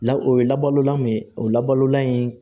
La o ye labalolan min ye o labalolan in